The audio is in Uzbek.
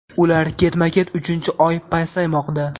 ular ketma-ket uchinchi oy pasaymoqda.